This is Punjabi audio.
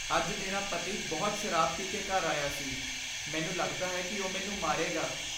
ਅੱਜ ਮੇਰਾ ਪਤੀ ਬਹੁਤ ਸ਼ਰਾਬ ਪੀ ਕੇ ਘਰ ਆਇਆ ਸੀ। ਮੈਨੂੰ ਲੱਗਦਾ ਹੈ ਕਿ ਉਹ ਮੈਨੂੰ ਮਾਰੇਗਾ ।